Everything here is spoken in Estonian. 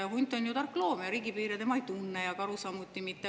Hunt on ju tark loom ja riigipiire tema ei tunne, karu samuti mitte.